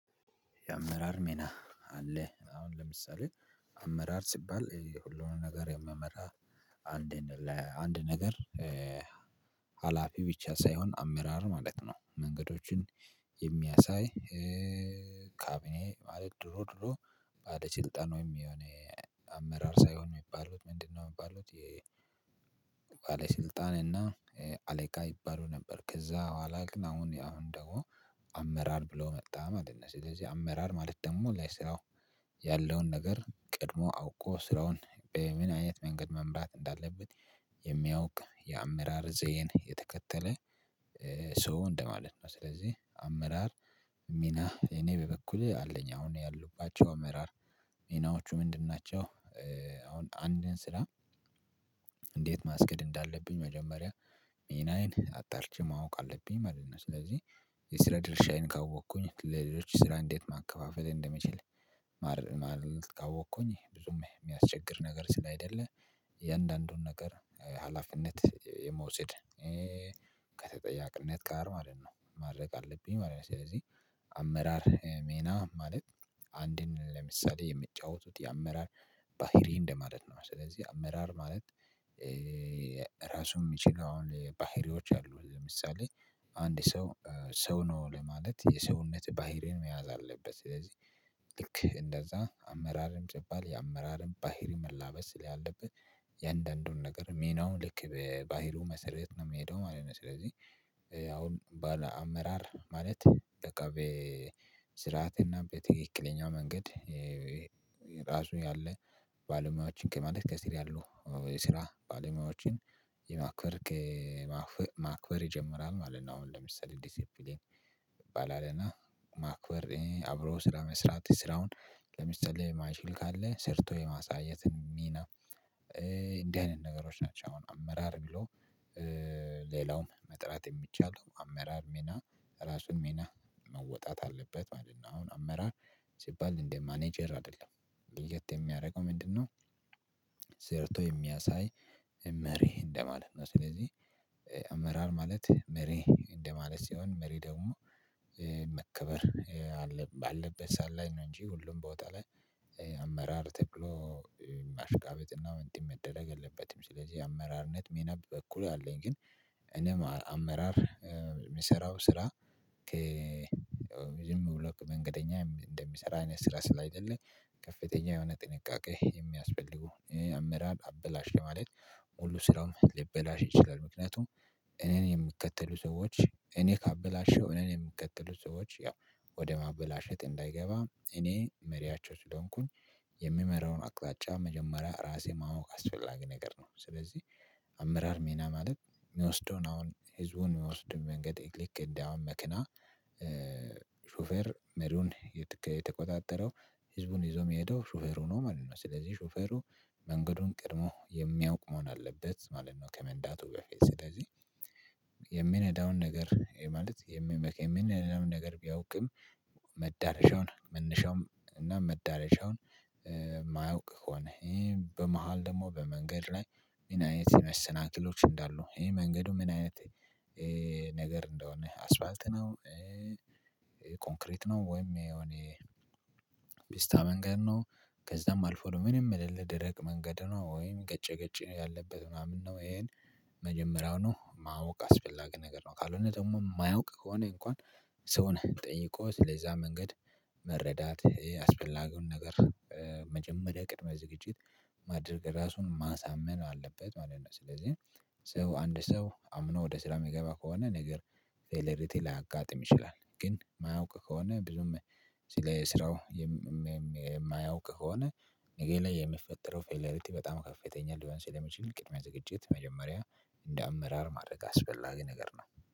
የአመራር ሜና አለ አሁን ለምሳሌ አመራር ሲባል የሁሉንም ነገር የምመራ አንዴ ለአንድ ነገር ሀላፊ ብቻ ሳይሆን አመራር ማለት ነው። መንገዶችን የሚያሳይ ካቢኔ ድሮ ድሮ ባስልጠን ወይም የሆነ አመራር ሳይሆን ነው የሚባሉት ምንድነው የሚባሉት? የባለስልጣን እና አለቃ ይባሉ ነበር ከዛ ኋላ ግን አሁን ያው ደሞ አመራር ብሎ መጣ ማለት ነው። ስለዚህ አመራር ማለት ደግሞ ለስራው ያለውን ነገር ቀድሞ አውቆ ስራውን በምን አይነት መንገድ መምራት እንዳለበት የሚያውቅ የአመራር ዘዬን የተከተለ ሰው እንደማለት ነው። ስለዚህ አመራር ሚና እኔ በበኩሌ አለኝ አሁን ያሉባቸው አመራር ሚናዎቹ ምንድን ናቸው? አሁን አንድን ስራ እንዴት ማስኬድ እንዳለብኝ መጀመሪያ ሚናዬን አጣርቼ ማወቅ አለብኝ ማለት ነው። ስለዚህ የስራ ድርሻዬን ካወቅኩኝ ለሌሎች ስራ እንዴት ማከፋፈል እንደምችል ማለት ካወቅኩኝ ብዙም የሚያስቸግር ነገር ስላይደለ። የእንዳንዱን ነገር ሀላፊነት የመውሰድ ከተጠያቅነት ጋር ማለት ነው ማድረግ አለብኝ ማለት ነው። ስለዚህ አመራር ሜና ማለት አንድን ለምሳሌ የሚጫወቱት የአመራር ባህሪ እንደማለት ነው። ስለዚህ አመራር ማለት ራሱ የሚችለውን ባህሪዎች አሉ ለምሳሌ አንድ ሰው ሰው ነው ለማለት የሰውነት ባህሪን መያዝ አለበት። ስለዚህ ልክ እንደዛ አመራርም ሲባል የአመራርም ባህሪ መላበስ ስላለበት የእንደንዱን ነገር ሜናውን ልክ በባህሪው መሰረየት ነው የምሄደው ማለት ነው። ስለዚህ አሁን ባለ አመራር ማለት በቃ በስርዓት እና በትክክለኛ መንገድ ራሱ ያለ ባለሙያዎችን ማለት ከስር ያሉ ከየስራ ባለሙያዎችን የማክበር ማክበር ይጀምራል ማለት ነው። አሁን ለምሳሌ ዲሲፕሊን ይባላል እና ማክበር አብሮ ስራ መስራት ስራውን ለምሳሌ ስራውን የማይችል ካለ ሰርቶ የማሳየት ሚና እንዲህ አይነት ነገሮች ናቸው። አሁን አመራር ብሎ ሌላውም መጥራት የሚቻለው አመራር ሜና ራሱን ሜና መወጣት አለበት ማለት ነው። አሁን አመራር ሲባል እንዴት ማኔጀር አይደለም ልዩት የሚያደርገው ምንድነው? ዘርቶ የሚያሳይ መሪ እንደማለት ነው። ስለዚህ አመራር ማለት መሪ እንደማለት ሲሆን መሪ ደግሞ መከበር ባለበት ሰዓት ላይ ነው እንጂ ሁሉም ቦታ ላይ አመራር ተክሎ ማሽቃበጥና ምድብ መደረግ የለበትም። ስለዚህ አመራርነት ሜና በኩል አለኝ ግን እኔም አመራር የምሰራው ስራ ዝም ብሎ መንገደኛ እንደሚሰራ አይነት ስራ ስላይደለ ከፍተኛ የሆነ ጥንቃቄ የሚያስፈልጉ የአመራር አበላሽ ለማለት ሙሉ ስራውም ሊበላሽ ይችላል። ምክንያቱም እኔን የሚከተሉ ሰዎች እኔ ካበላሸው እኔን የምከተሉ ሰዎች ያው ወደ ማበላሸት እንዳይገባ እኔ መሪያቸው ስለሆንኩኝ የምመራውን አቅጣጫ መጀመሪያ ራሴ ማወቅ አስፈላጊ ነገር ነው። ስለዚህ አመራር ሚና ማለት የሚወስደውን አሁን ህዝቡን የሚወስድን መንገድ ልክ እንዳውን መክና ሹፈር መሪውን የተቆጣጠረው ህዝቡን ይዞ የሚሄደው ሹፈሩ ነው ማለት ነው። ስለዚህ ሹፈሩ መንገዱን ቀድሞ የሚያውቅ መሆን አለበት ማለት ነው። ከመንዳቱ በ ፊት ስለዚህ የሚነዳውን ነገር ማለት የሚመክ የሚነዳውን ነገር ቢያውቅም መዳረሻውን መነሻውም እና መዳረሻውን የማያውቅ ከሆነ ይሄ በመሃል ደግሞ በመንገድ ላይ ሚን አይነት መሰናክሎች እንዳሉ ይሄ መንገዱ ምን አይነት ነገር እንደሆነ አስፋልት ነው። ኮንክሪት ነው ወይም የኔ ቢስታ መንገድ ነው ከዛም አልፎም ምንም የሌለ ድረቅ መንገድ ነው ወይም ገጭ ገጭ ነው ያለበት ምናምን ነው ይሄን መጀመሪያው ነው ማወቅ አስፈላጊ ነገር ነው። ካልሆነ ደግሞ የማያውቅ ከሆነ እንኳን ሰውን ጠይቆ ስለለዛ መንገድ መረዳት ይሄ አስፈላጊውን ነገር መጀመሪያ ቅድመ ዝግጅት ማድረግ ራሱን ማሳመን አለበት ማለት ነው። ስለዚህ ሰው አንድ ሰው አምኖ ወደ ስራ የሚገባ ከሆነ ነገር ፌለሪቴ ላያጋጥም ይችላል። ግን የማያውቅ ከሆነ ብዙም ስራው የማያውቅ ከሆነ ነጌ ላይ የሚፈጠረው ፌለሪቲ በጣም ከፍተኛ ሊባል ስለሚችል ቅድሚያ ዝግጅት መጀመሪያ እንደ አመራር ማድረግ አስፈላጊ ነገር ነው